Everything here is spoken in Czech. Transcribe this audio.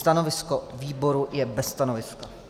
Stanovisko výboru je bez stanoviska.